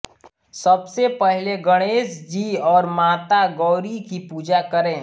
सबसे पहले गणेश जी और माता गौरी की पूजा करें